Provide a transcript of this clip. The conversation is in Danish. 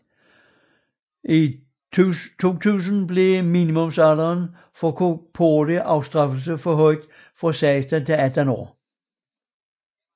I 2000 blev minimumalderen for korporlig afstraffelse forhøjet fra 16 til 18 år